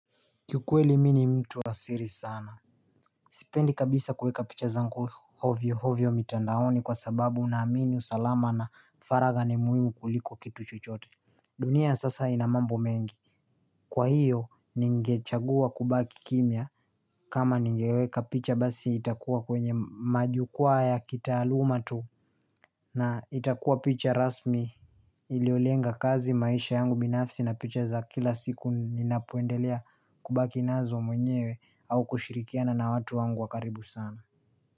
Kiukweli mimi ni mtu wa siri sana Sipendi kabisa kuweka picha zangu hovyio hovyio mitandaoni kwa sababu naamini usalama na faragha ni muhimu kuliko kitu chochote dunia ya sasa ina mambo mengi kwa hiyo ninge chagua kubaki kimia kama ningeweka picha basi itakuwa kwenye majukwaa ya kitaaluma tu na itakuwa picha rasmi Iliolenga kazi maisha yangu binafsi na picha za kila siku ninapoendelea kubaki nazo mwenyewe au kushirikiana na watu wangu wakaribu sana.